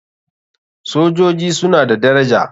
Sojoji suna da daraja.